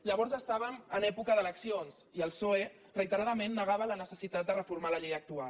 llavors estàvem en època d’eleccions i el psoe reiteradament negava la necessitat de reformar la llei actual